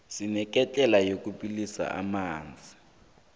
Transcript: sineketlela yokubilisa amanzi